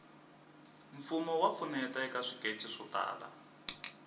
mfumo wa pfuneta eka swikece swo tala